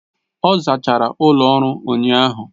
Ọ zachara ụlọ ọrụ ụnyahụ.